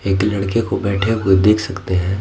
एक लड़के को बैठे हुए देख सकते हैं ।